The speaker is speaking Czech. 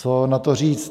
Co na to říct?